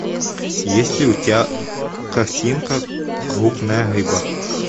есть ли у тебя картинка крупная рыба